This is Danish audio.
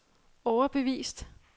overbevist